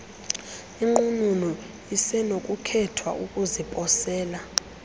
inqununu isenokukhetha ukuziposela